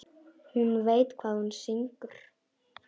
Hún veit hvað hún syngur.